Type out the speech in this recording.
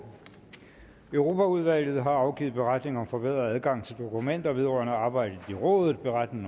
europaudvalget har afgivet beretning om forbedret adgang til dokumenter vedrørende arbejde i rådet